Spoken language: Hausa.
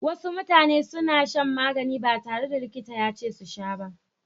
Wasu mutane sukan sha magani ba tare da likita yace su sha ba.